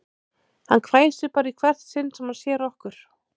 Hann hvæsir bara í hvert sinn sem hann sér okkur